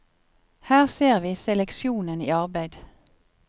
Her ser vi seleksjonen i arbeid.